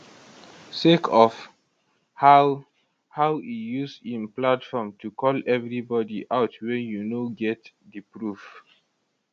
sake of how how e use im platform to call evri body out wen you no get di proof